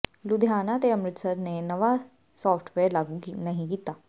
ਲੁਧਿਆਣਾ ਤੇ ਅੰਮਿ੍ਤਸਰ ਨੇ ਨਵਾਂ ਸਾਫਟਵੇਅਰ ਲਾਗੂ ਨਹੀਂ ਕੀਤਾ